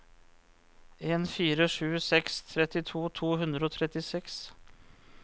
en fire sju seks trettito to hundre og trettiseks